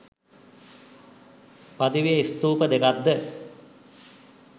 පදවියේ ස්ථූප දෙකක්ද